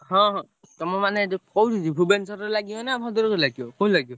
ହଁ ହଁ, ତମେ ମାନେ ଯୋଉ କୋଉଠି ଯିବି ଭୁବନେଶ୍ବରରେ ଲାଗିବ ନା ଭଦ୍ରକରେ ଲାଗିବ କୋଉଠି ଲାଗିବ?